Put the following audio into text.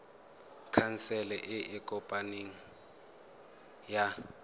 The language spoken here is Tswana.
khansele e e kopaneng ya